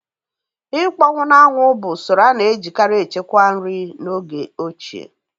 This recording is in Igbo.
Ịkpọnwụ na-anwụ bụ usoro a na-ejikarị echekwa nri n'oge ochie